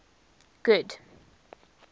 good